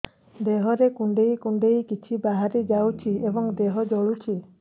ଦେହରେ କୁଣ୍ଡେଇ କୁଣ୍ଡେଇ କିଛି ବାହାରି ଯାଉଛି ଏବଂ ଦେହ ଜଳୁଛି